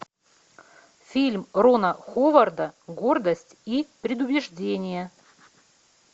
фильм рона ховарда гордость и предубеждение